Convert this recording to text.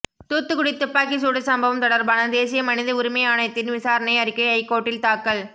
தூத்துக்குடி துப்பாக்கி சூடு சம்பவம் தொடர்பான தேசிய மனித உரிமை ஆணையத்தின் விசாரணை அறிக்கை ஐகோர்ட்டில் தாக்கல்